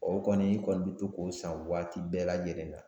O kɔni i kɔni bɛ to k'o san waati bɛɛ lajɛlen na